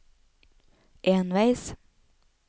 enveis